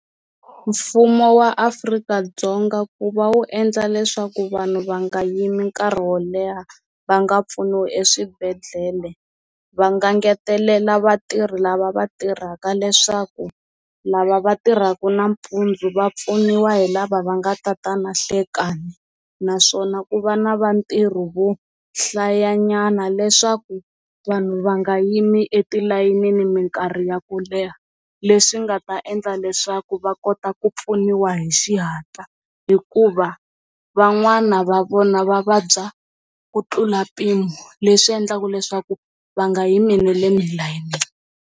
Mfumo wa Afrika-Dzonga ku va wu endla leswaku vanhu va nga yimi nkarhi wo leha va nga pfuniwi eswibedhlele va nga ngetelela vatirhi lava va tirhaka leswaku lava va tirhaka nampundzu va pfuniwa hi lava va nga ta ta na nhlekani naswona ku va na va ntirho vo hlayanyana leswaku vanhu va nga yimi etilayenini minkarhi ya ku leha leswi nga ta endla leswaku va kota ku pfuniwa hi xihatla hikuva van'wana va vona va vabya ku tlula mpimo leswi endlaka leswaku va nga yimi na le layinini.